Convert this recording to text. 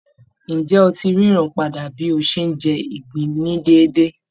Ǹjẹ́ ó ti ń ríran padà bí ó ṣe ń jẹ ìgbín ní déédé?